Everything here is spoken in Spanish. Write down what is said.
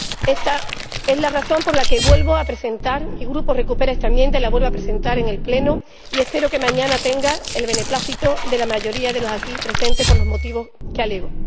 Esta es la razón por la que vuelvo a presentar esta enmienda —mi Grupo recupera esta enmienda y la vuelve a presentar en el Pleno— y espero que mañana tenga el beneplácito de la mayoría de los aquí presentes, por los motivos que alego.